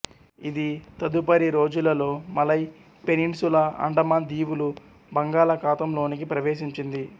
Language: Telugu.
ఇది తదుపరి రోజులలో మలయ్ పెనిన్సులా అండమాన్ దీవులు బంగాళా ఖాతంలోనికి ప్రవేశించింది